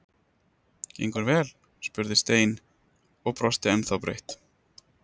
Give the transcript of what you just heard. Gengur vel? spurði Stein og brosti ennþá breitt.